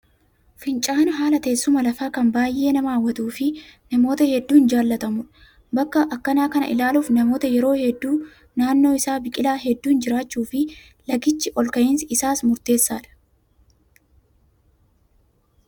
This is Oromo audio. Fincaa'aan haala teessuma lafaa kan baay'ee nama hawwatuu fi namoota hedduun jaallatamudha. Bakka akkanaa kana ilaaluuf namoonni yeroo hedduu naannoo isaa biqilaa hedduun jiraachuu fi lagichi ol ka'insi isaas murteessaadha.